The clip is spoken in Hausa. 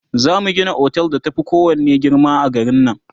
zamu Gina otel da ta Fi kowanne girma a garin nan